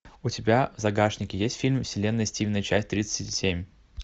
у тебя в загашнике есть фильм вселенная стивена часть тридцать семь